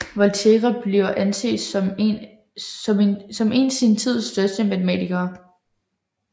Volterra bliver anset som en sin tids største matematikere